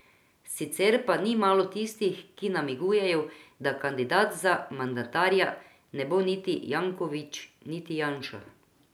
Sicer pa ni malo tistih, ki namigujejo, da kandidat za mandatarja ne bo niti Jankovič niti Janša.